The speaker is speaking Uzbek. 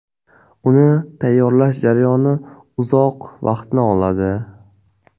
Uni tayyorlash jarayoni uzoq vaqtni oladi.